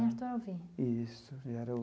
Em Artur Alvim? Isso era o.